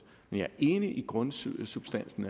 men jeg er enig i grundsubstansen